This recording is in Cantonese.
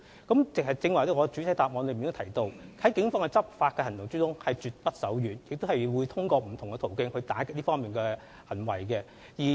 我剛才在主體答覆也提到，警方的執法行動絕不手軟，並會透過不同途徑打擊這方面的行為。